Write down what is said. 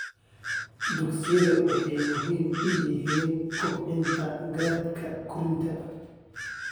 Dugsiyada waxay muhiim u yihiin kobcinta garaadka korriinka.